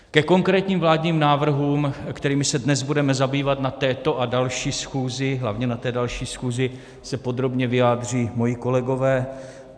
Ke konkrétním vládním návrhům, kterými se dnes budeme zabývat na této a další schůzi, hlavně na té další schůzi, se podrobně vyjádří moji kolegové.